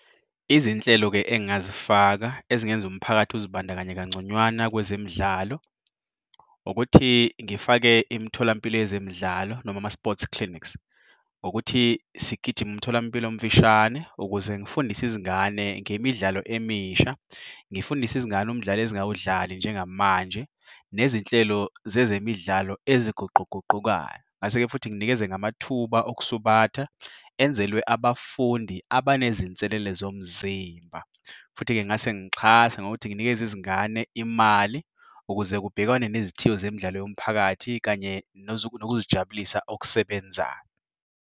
Izinhlelo-ke engingazifaka ezingenza umphakathi uzibandakanye kangconywana kwezemidlalo ukuthi ngifake imitholampilo yezemidlalo noma ama-sports clinics ngokuthi sigijime umtholampilo omfishane ukuze ngifundise izingane ngemidlalo emisha, ngifundise izingane umdlalo ezingawudlali njengamanje, nezinhlelo zezemidlalo eziguquguqukayo. Ngingase-ke futhi nginikeze ngamathuba okusubatha enzelwe abafundi abanezinselele zomzimba. Futhi-ke ngingase ngixhase ngokuthi nginikeze izingane imali ukuze kubhekwane nezithiyo zemidlalo yomphakathi kanye nokuzijabulisa okusebenzayo.